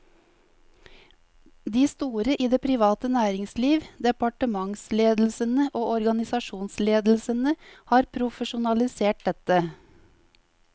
De store i det private næringsliv, departementsledelsene og organisasjonsledelsene har profesjonalisert dette.